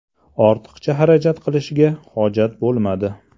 Ortiqcha harakat qilishga hojat bo‘lmadi.